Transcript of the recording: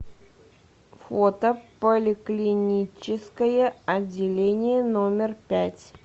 фото поликлиническое отделение номер пять